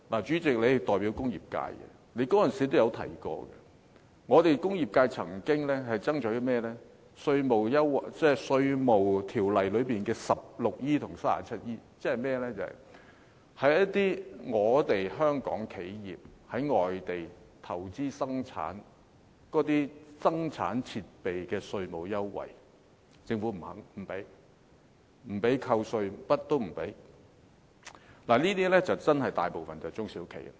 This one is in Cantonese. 主席，你代表工業界，你當時也提到，工業界曾經爭取甚麼呢？便是《稅務條例》第 16E 及 39E 條，即是香港企業在外地投資生產，那些生產設備的稅務優惠，政府不准許扣稅，甚麼都不准許，這些便真的與大部分中小企有關。